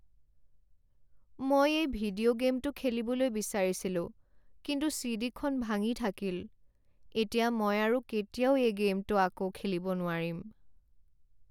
মই এই ভিডিঅ' গে'মটো খেলিবলৈ বিচাৰিছিলোঁ কিন্তু চি.ডি. খন ভাঙি থাকিল। এতিয়া মই আৰু কেতিয়াও এই গে'মটো আকৌ খেলিব নোৱাৰিম।